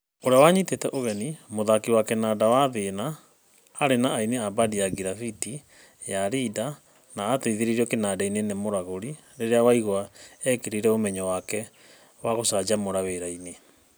ũrĩa wanyitanĩte ũgeni, mũthaki wa kĩnanda wa Wathĩna, arĩ na aini a bandi ya Girabĩtĩ, ya Rinda na ateithĩrĩirwo kĩnanda-inĩ nĩ Mũragũri rĩrĩa Waigwa ĩkĩrire ũmenyo wake wa gũcanjamũra wĩra-inĩ.